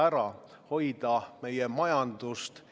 Täna kahjuks tuginevad need ettepanekud ainult udujuttudele.